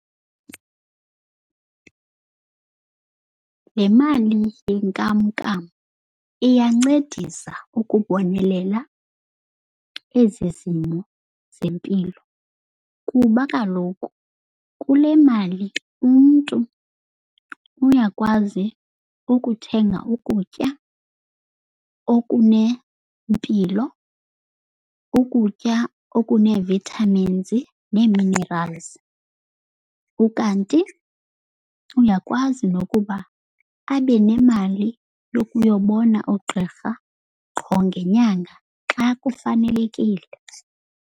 Le mali yenkamnkam iyancedisa ukubonelela ezi zimo zempilo. Kuba kaloku kule mali umntu uyakwazi ukuthenga ukutya okunempilo, ukutya okunee-vitamins nee-minerals. Ukanti uyakwazi nokuba abe nemali yokuyobona oogqirha qho ngenyanga xa kufanelekile.